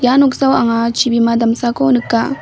ia noksao anga chibima damsako nika·